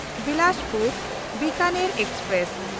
Bilaspur-Bikaner express